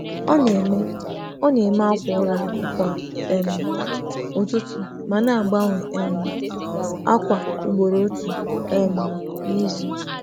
Ọ na-eme akwa ụra kwa ụtụtụ ma na-agbanwe ákwà ugboro otu n’izu.